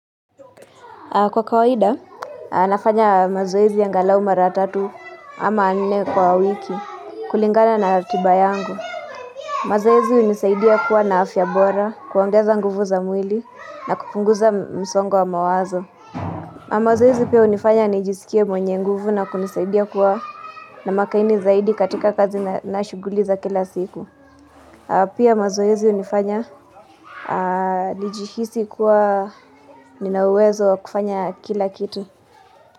Kwa kawaida, nafanya mazoezi angalau mara tatu ama nne kwa wiki kulingana na ratiba yangu. Mazoezi hunisaidia kuwa na afya bora, kuongeza nguvu za mwili na kupunguza msongo wa mawazo. Mazoezi pia hunifanya nijisikie mwenye nguvu na kunisaidia kuwa na makini zaidi katika kazi na shuguli za kila siku. Pia mazoezi hunifanya nijihisi kuwa nina uwezo kufanya kila kitu.